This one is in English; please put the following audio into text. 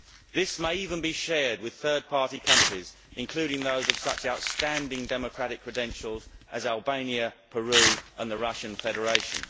This may even be shared with third party countries, including those of such outstanding democratic credentials as Albania, Peru and the Russian Federation.